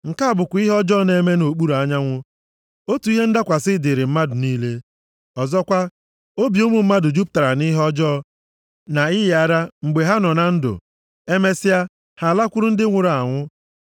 Nke a bụkwa ihe ọjọọ na-eme nʼokpuru anyanwụ. Otu ihe ndakwasị dịrị mmadụ niile. Ọzọkwa, obi ụmụ mmadụ jupụtara nʼihe ọjọọ na ịyị ara mgbe ha nọ na ndụ, emesịa ha alakwuru ndị nwụrụ anwụ.